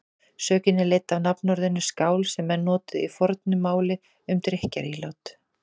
Sögnin er leidd af nafnorðinu skál sem menn notuðu í fornu máli um drykkjarílát.